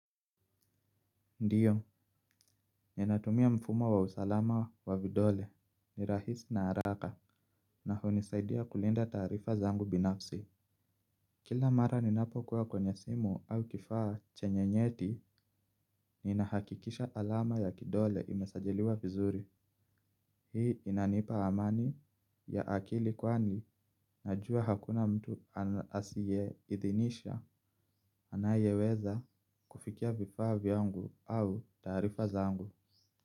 Ndiyo, ninatumia mfumo wa usalama wa vidole, ni rahisi na haraka na hunisaidia kulinda taarifa zangu binafsi. Kila mara ninapo kuwa kwenye simu au kifaa chenye nyeti, ninahakikisha alama ya kidole imesajiliwa vizuri. Hii inanipa amani ya akili kwani najua hakuna mtu asiyeidhinisha anayeweza kufikia vifaa vyangu au taarifa zangu.